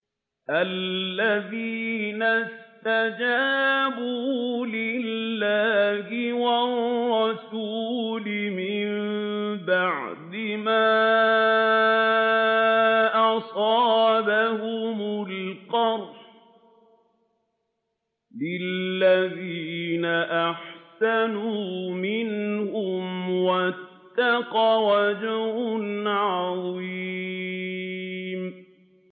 الَّذِينَ اسْتَجَابُوا لِلَّهِ وَالرَّسُولِ مِن بَعْدِ مَا أَصَابَهُمُ الْقَرْحُ ۚ لِلَّذِينَ أَحْسَنُوا مِنْهُمْ وَاتَّقَوْا أَجْرٌ عَظِيمٌ